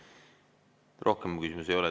Rohkem küsimusi ei ole.